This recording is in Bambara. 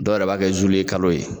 Dɔw yɛrɛ b'a kɛ zuluwekalo ye